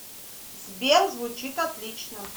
сбер звучит отлично